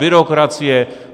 Byrokracie.